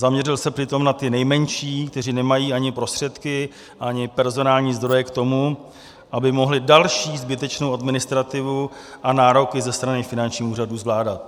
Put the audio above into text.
Zaměřil se přitom na ty nejmenší, kteří nemají ani prostředky, ani personální zdroje k tomu, aby mohli další zbytečnou administrativu a nároky ze strany finančních úřadů zvládat.